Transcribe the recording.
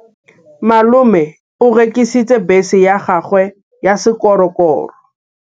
Malome o rekisitse bese ya gagwe ya sekgorokgoro.